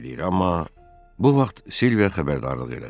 amma bu vaxt Silviya xəbərdarlıq elədi.